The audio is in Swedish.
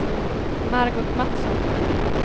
Margot Matsson